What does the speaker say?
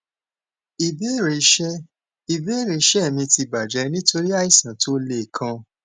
ìbéèrè iṣẹ ìbéèrè iṣẹ mi ti bajẹ nitori aìsàn tó le kan